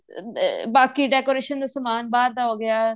ਅਹ ਬਾਕੀ decoration ਦਾ ਸਮਾਨ ਬਹਾਰ ਦਾ ਹੋ ਗਿਆ